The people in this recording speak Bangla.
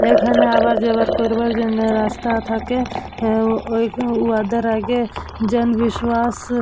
যেখানে আবার জোগাড় করবার জন্য রাস্তা থাকে ওই উয়াদের আগে জনবিশ্বাস।